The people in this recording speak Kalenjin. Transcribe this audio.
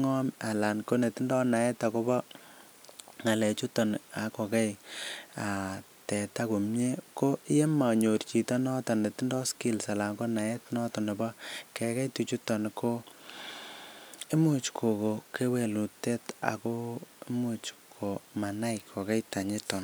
ngom Ana ko netindoi naet agobo ngalek chuto ak koyaaak angonyor chito netindoi naet agobo teta ko yon monyor chito netindoi naet komie agobo kekei tuchuto ko Imuch kogonon kewelutiet ago Imuch komagei teta